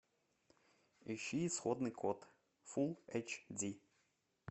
ищи исходный код фулл эйч ди